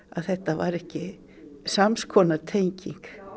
þetta var ekki samskonar tenging